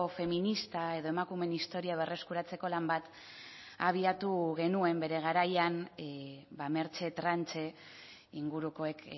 feminista edo emakumeen historia berreskuratzeko lan bat abiatu genuen bere garaian mertxe tranche ingurukoek